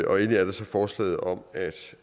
og endelig er der så forslaget om